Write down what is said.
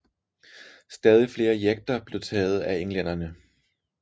Stadig flere jekter blev taget af englænderne